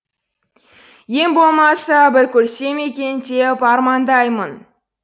ең болмаса бір көрсем екен деп армандаймын